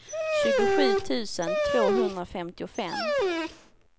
tjugosju tusen tvåhundrafemtiofem